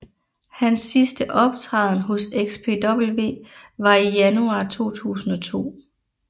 Hans sidste optræden hos XPW var i januar 2002